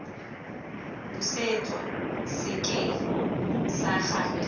busetswa sekeng sa gagwe fa